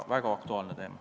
Väga aktuaalne teema.